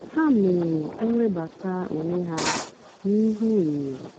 há mèrè íwébátá ónwé há n'íhú ényó.